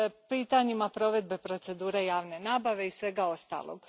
pitanjima provedbe procedure javne nabave i svega ostalog.